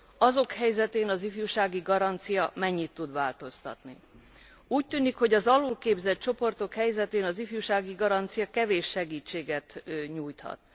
az ő helyzetükön az ifjúsági garancia vajon mennyit tud változtatni? Úgy tűnik, hogy az alulképzett csoportoknak az ifjúsági garancia kevés segítséget nyújthat.